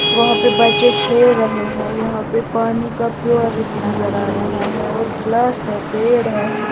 वहां पे बच्चे खेल रहे हैं यहां पे पानी का प्योरिट नजर आ रहा है और गिलास है पेड़ है।